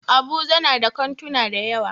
Abuja na da kantuna dayawa.